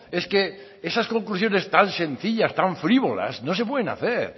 es que esas conclusiones tan sencillas tan frívolas no se pueden hacer